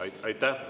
Aitäh!